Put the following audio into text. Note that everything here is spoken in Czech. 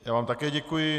Já vám také děkuji.